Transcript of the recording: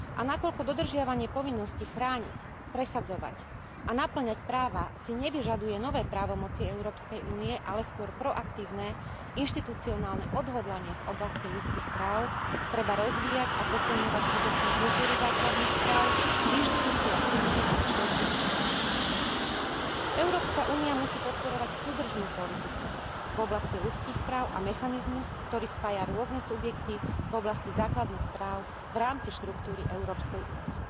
A keďže dodržiavanie povinnosti chrániť, presadzovať a napĺňať práva si nevyžaduje nové právomoci Európskej únie, ale skôr proaktívne inštitucionálne odhodlanie v oblasti ľudských práv, treba rozvíjať a posilňovať skutočnú kultúru základných práv v inštitúciách Únie a v členských štátoch. Európska únia musí podporovať súdržnú politiku v oblasti ľudských práv a mechanizmus, ktorý spája rôzne subjekty v oblasti základných práv v rámci štruktúry Európskej únie.